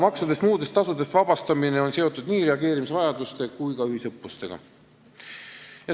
Maksudest ja muudest tasudest vabastamine on seotud nii reageerimisvajaduste kui ka ühisõppustega.